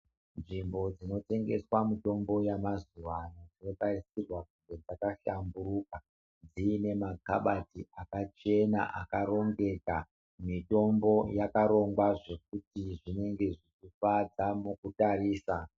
Nzvimbo dzinotengeserwa mitombo yamazuvano dzinotarisirwa kunge dzakahlamburuka dziine makabati akachena akarongeka mitombo yakatongwa zvekuti zvinenge zvichifadza mukutarisa.